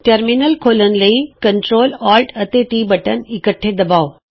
terminal ਖੋਲ੍ਹਣ ਲਈ control alt ਅਤੇ ਟੀ ਬਟਨ ਇੱਕਠੇ ਦਬਾਉ